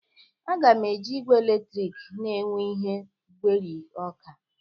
A ga m- eji igwe eletrik na-egwe ihe gwerie ọka